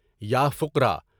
یا فقرا!